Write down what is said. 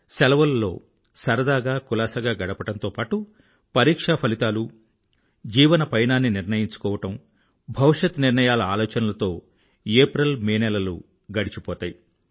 సెలవులలో సరదాగా కులాసాగా గడపడంతో పాటూ పరీక్షా ఫలితాలు జీవనపయనాన్ని నిర్ణయించుకోవడం భవిష్యత్ నిర్ణయాల ఆలోచనలతో ఏప్రిల్ మే నెలలు గడిచిపోతాయి